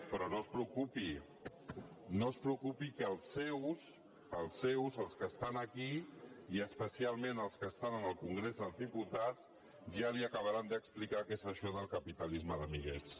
però no es preocupi no es preocupi que els seus els seus els que estan aquí i especialment els que estan en el congrés dels diputats ja li acabaran d’explicar què és això del capitalisme d’amiguets